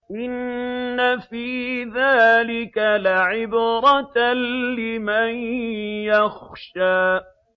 إِنَّ فِي ذَٰلِكَ لَعِبْرَةً لِّمَن يَخْشَىٰ